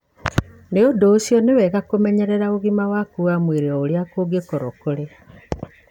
Nĩ ũndũ ũcio, nĩ wega kũmenyerera ũgima waku wa mwĩrĩ o ũrĩa kũngĩkorũo kũrĩ.